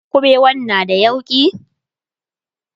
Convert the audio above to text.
ƙuɓewan na da yauƙi?